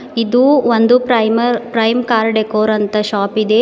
ಇದು ಒಂದು primer prime car decor ಅಂತ ಶಾಪ್ ಇದೆ ಇ--